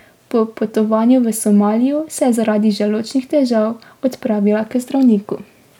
Po potovanju v Somalijo se je zaradi želodčnih težav odpravila k zdravniku.